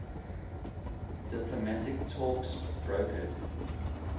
diplomatic talks brokered